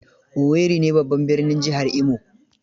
Owerri ne babban birnin jihar Imo.